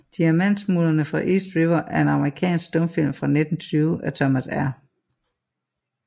Diamantsmuglerne fra East River er en amerikansk stumfilm fra 1920 af Thomas R